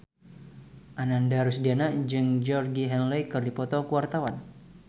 Ananda Rusdiana jeung Georgie Henley keur dipoto ku wartawan